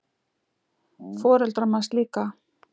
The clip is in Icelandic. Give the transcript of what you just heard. Foreldrar manns líka.